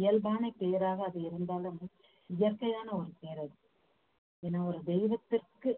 இயல்பான பேராக அது இருந்தாலும் இயற்கையான ஒரு பேர் அது ஏன்னா ஒரு தெய்வத்திற்கு